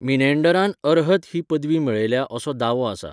मिनेंडरान अर्हत ही पदवी मेळयल्या असो दावो आसा.